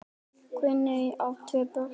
Guðný á tvö börn.